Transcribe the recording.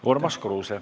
Urmas Kruuse.